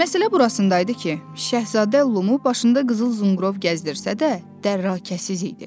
Məsələ burasında idi ki, Şəhzadə Lumu başında qızıl zınqrov gəzdirsə də, dərrakəsiz idi.